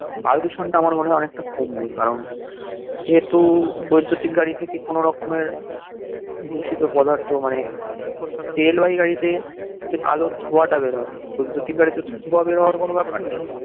বায়ু দূষণ টা অনেক টা কমবে কারণ যে হেতু বৈদুতিক গাড়ি থেকে কোনো রকমের দূষিত পদার্থ মানে তেল বাহি গাড়িতে যে কালো ধোয়া টা বের হয় বৈদুতিক গাড়িতে ধোয়া বের হওয়ার কোনো ব্যাপার নেই